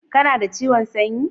kana da ciwon sanyi